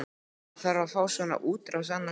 Maður þarf að fá svona útrás annað slagið.